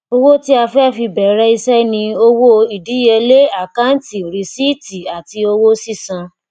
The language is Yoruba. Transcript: owó tí a fi bẹrẹ iṣẹ ni owó idiyele akanti rìsíìtì àti owó sísan